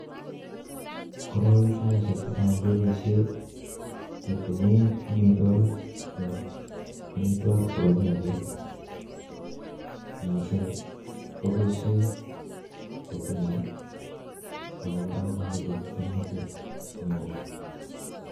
Koroi saishek chechang keboishe keteme amitwogik chebo kiakik missing koboishe sitimet ako kora mamoche kimnatet neo.